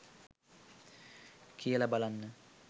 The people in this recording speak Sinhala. කියලා බලන්න